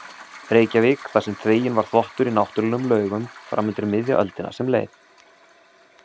Reykjavík þar sem þveginn var þvottur í náttúrlegum laugum fram undir miðja öldina sem leið.